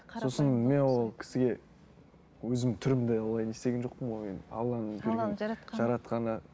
мен ол кісіге өзім түрімді олай не істеген жоқпын ғой мен алланың берген жаратқаны